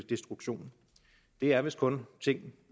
destruktion det er vist kun ting